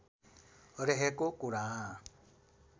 रहेको कुरा